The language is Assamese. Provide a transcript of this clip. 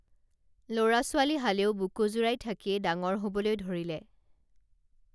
লৰা ছোৱালীহালেও বুকু জুৰাই থাকিয়ে ডাঙৰ হবলৈ ধৰিলে